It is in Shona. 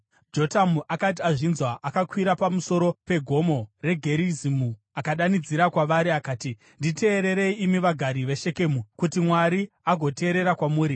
Jotamu akati azvinzwa, akakwira pamusoro peGomo reGerizimu akadanidzira kwavari akati, “Nditeererei imi vagari veShekemu, kuti Mwari agoteerera kwamuri.